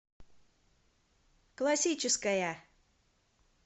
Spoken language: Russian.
классическая